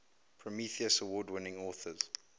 prometheus award winning authors